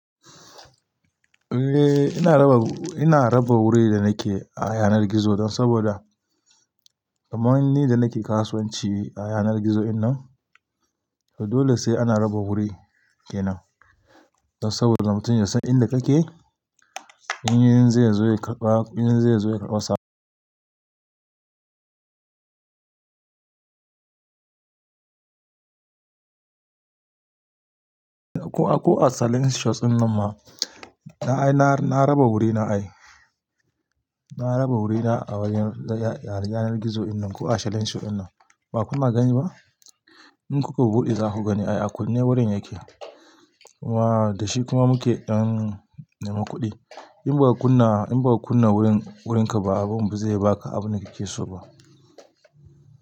Eh ina raba, ina raba wurin da nake a yanar gizo dan saboda kaman ni da nake kasuwanci a yanar gizo dinnan, to dole sai ana raba guri kenan. Dan saboda mutun ya san inda kake, in yanzu zai zo ya karba, in zai zo ya karba sa. Ko a selling shops dinnan ma, na ai na raba wurina ai. Na raba wurina a wajen yanar gizo dinnan ko a selling shop dinnan. Ba kuna gani ba? In kuka buɗe zaku gani ai a kunne wurin yake. Waa da shi kuma muke dan nema kuɗi. In baka kunna, in baka kunna wurin wurinka ba, abun ba zai baka abun da kake so ba.